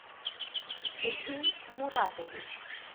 сергей муратович